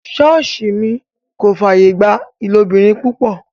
Ṣọọṣi mi kò fàyè gba ìlóbìrin-pupọ.